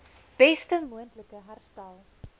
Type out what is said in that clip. beste moontlike herstel